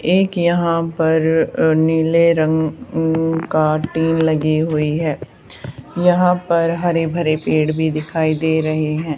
एक यहां पर अ नीले रंग अं का टीन लगी हुई है यहां पर हरे भरे पेड़ भी दिखाई दे रहे हैं।